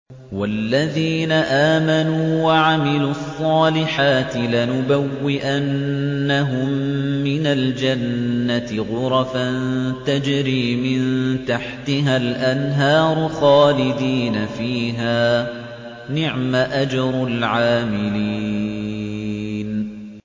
وَالَّذِينَ آمَنُوا وَعَمِلُوا الصَّالِحَاتِ لَنُبَوِّئَنَّهُم مِّنَ الْجَنَّةِ غُرَفًا تَجْرِي مِن تَحْتِهَا الْأَنْهَارُ خَالِدِينَ فِيهَا ۚ نِعْمَ أَجْرُ الْعَامِلِينَ